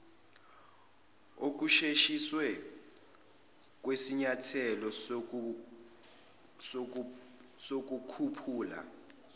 okusheshisiwe kwesinyathelo sokukhuphula